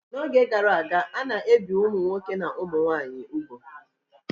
N'oge gara aga, a na-ebi ụmụ nwoke nakwa ụmụ nwaanyị ugwu